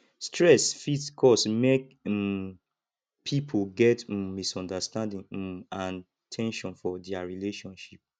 stress fit cause mek um pipo get um misunderstanding um and ten sion for dia relationship